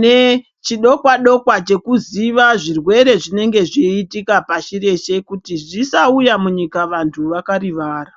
nechidokwa-dokwa chekuziva zvirwere zvinenge zviitika pashi reshe kuti zvisauya munyika vantu vakarivara.